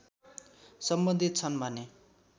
सम्बन्धित छन् भने